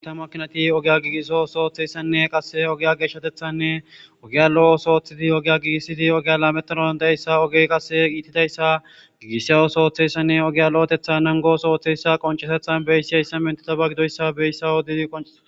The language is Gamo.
Giita makkinatte iittida ogge giigissizayssanne oggeza lo'eththishe diizayssa qonccises.